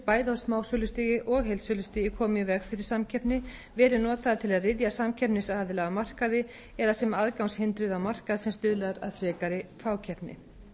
bæði á smásölustigi og heildsölustigi komið í veg fyrir samkeppni verið notaðir til að ryðja samkeppnisaðila af markaði eða sem aðgangshindrun á markað sem stuðlar að frekari fákeppni